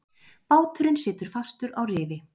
Báturinn situr fastur á rifi.